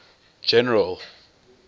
general